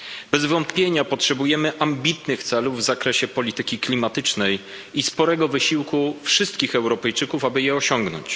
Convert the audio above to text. Bez wątpienia potrzebujemy ambitnych celów w zakresie polityki klimatycznej i sporego wysiłku wszystkich Europejczyków, aby je osiągnąć.